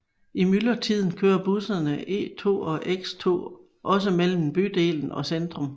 I myldretiden kører busserne E2 og X2 også mellem bydelen og centrum